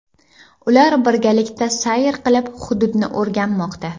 Ular birgalikda sayr qilib, hududni o‘rganmoqda.